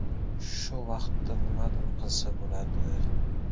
Shu vaqtda nimadir qilsa bo‘ladi.